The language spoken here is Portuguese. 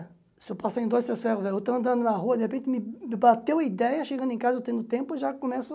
Se eu passar em dois, três ferros velhos, eu estou andando na rua, de repente me me bateu a ideia, chegando em casa, eu tendo tempo, eu já começo a